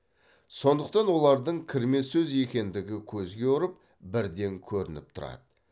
сондықтан олардың кірме сөз екендігі көзге ұрып бірден көрініп тұрады